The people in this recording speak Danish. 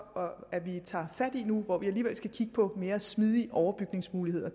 at vi tager fat på nu hvor vi alligevel skal kigge på mere smidige overbygningsmuligheder